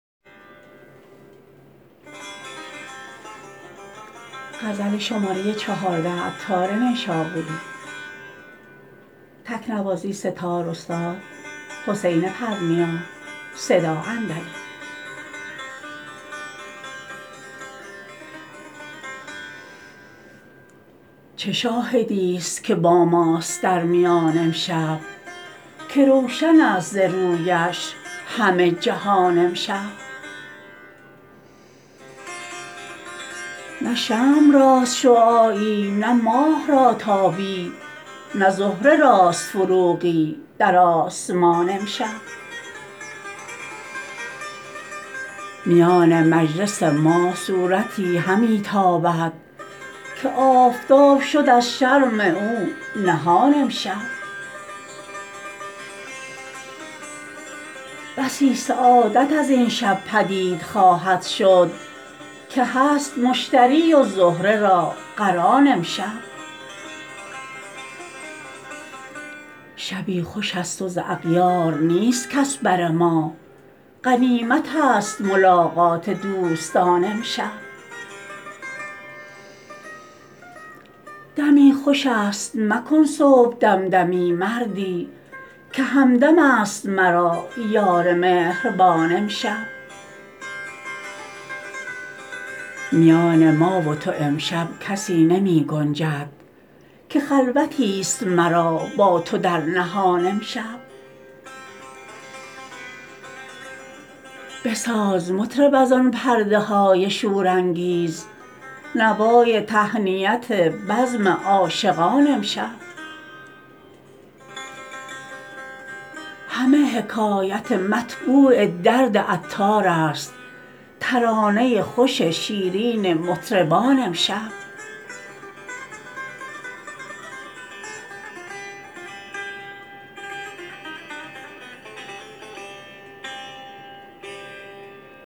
چه شاهدی است که با ماست در میان امشب که روشن است ز رویش همه جهان امشب نه شمع راست شعاعی نه ماه را تابی نه زهره راست فروغی در آسمان امشب میان مجلس ما صورتی همی تابد که آفتاب شد از شرم او نهان امشب بسی سعادت از این شب پدید خواهد شد که هست مشتری و زهره را قران امشب شبی خوش است و ز اغیار نیست کس بر ما غنیمت است ملاقات دوستان امشب دمی خوش است مکن صبح دم دمی سردی که همدم است مرا یار مهربان امشب میان ما و تو امشب کسی نمی گنجد که خلوتی است مرا با تو در نهان امشب بساز مطرب از آن پرده های شور انگیز نوای تهنیت بزم عاشقان امشب همه حکایت مطبوع درد عطار است ترانه خوش شیرین مطربان امشب